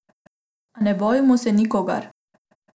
A ne bojimo se nikogar!